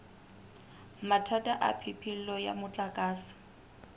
mathata a phepelo ya motlakase